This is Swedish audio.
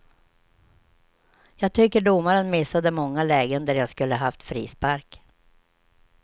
Jag tycker domaren missade många lägen där jag skulle haft frispark.